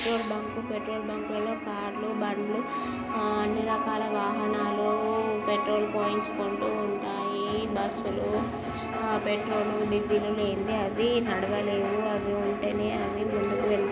Petrol bunk . Petrol bunk లో కార్లు బండ్లు అ-అన్నీ రకాల వాహనాలు పెట్రోల్ పోయించుకుంటు ఉంటాయి. బస్సు లు పెట్రోల్ డీజిల్ అవి నడవలేవు. అవి ఉంటేనే అవి ముందుకు వెళ్తూ--